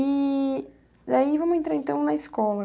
E daí, vamos entrar então na escola.